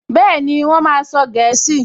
Bẹ́ẹ̀ni, Wọ́n máa sọ gẹ̀ẹ́sì